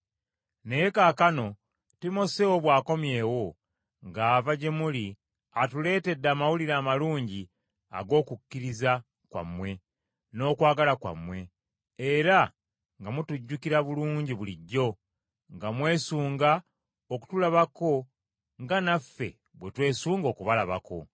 Naye kaakano Timoseewo bw’akomyewo ng’ava gye muli atuleetedde amawulire amalungi ag’okukkiriza kwammwe n’okwagala kwammwe, era nga mutujjukira bulungi bulijjo, nga mwesunga okutulabako nga naffe bwe twesunga okubalabako.